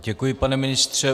Děkuji, pane ministře.